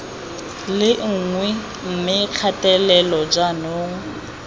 le nngwe mme kgatelelo jaanong